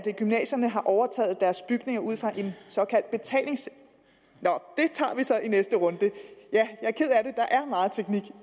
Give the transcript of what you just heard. gymnasierne har overtaget deres bygninger ud fra en såkaldt betalings nå det tager vi så i næste runde jeg er ked af det er meget teknik